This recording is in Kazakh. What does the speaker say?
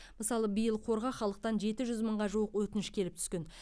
мысалы биыл қорға халықтан жеті жүз мыңға жуық өтініш келіп түскен